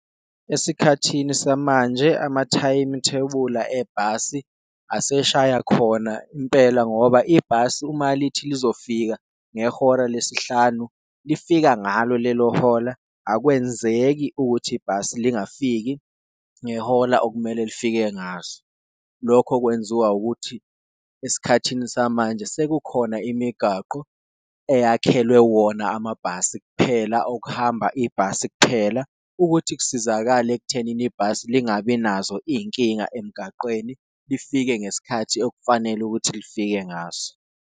Esikhathini samanje amathayimithebula ebhasi aseshaya khona impela ngoba ibhasi uma lithi lizofika ngehora lesihlanu lifika ngalo lelo hola, akwenzeki ukuthi ibhasi lingakafiki ngehola okumele lifike ngaso. Lokho kwenziwa ukuthi esikhathini samanje sekukhona imigaqo eyakhelwe wona amabhasi kuphela okuhamba ibhasi kuphela, ukuthi kusizakale ekuthenini ibhasi lingabi nazo iyinkinga emgaqweni lifike ngesikhathi okufanele ukuthi lifike ngaso.